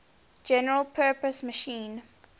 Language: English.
general purpose machine